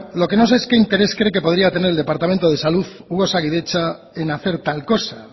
lo que no sé es qué interés podría tener el departamento de salud u osakidetza en hacer tal cosa